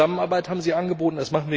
Zusammenarbeit haben Sie angeboten.